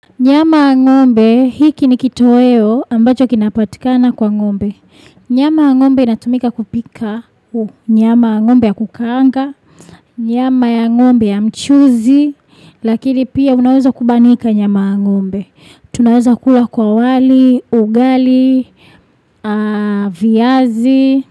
Nyama ya ngombe hiki ni kitoweo ambacho kinapotikana kwa ngombe. Nyama ya ngombe natumika kupika nyama ya ngombe ya kukaanga, nyama ya ngombe ya mchuzi, lakini pia unaweza kubanika nyama ya ngombe. Tunaweza kula kwa wali, ugali, viazi.